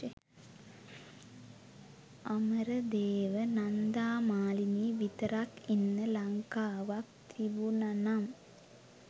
අමරදේව නන්දා මාලනී විතරක් ඉන්න ලංකාවක් තිබුනනම්